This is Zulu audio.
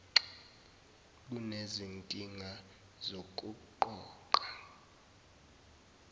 nxa kunezinkinga zokuqoqa